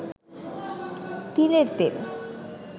তিলের তেল